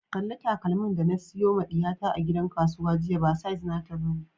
Kalli takalmin da na siyo ma diyata a gidan kasuwa jiya, ba size nata ba ne.